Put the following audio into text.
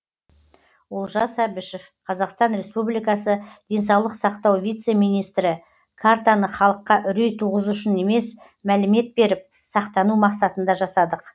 олжас әбішев қазақстан республикасы денсаулық сақтау вице министрі картаны халыққа үрей туғызу үшін емес мәлімет беріп сақтану мақсатында жасадық